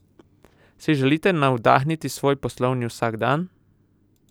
Si želite navdahniti svoj poslovni vsakdan?